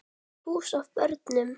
Fullt hús af börnum.